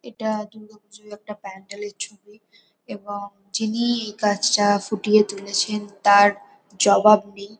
এটা দুর্গাপুজোর একটা প্যান্ডেল -এর ছবি এবং যিনি এই কাজটা ফুটিয়ে তুলেছেন তার জবাব নেই ।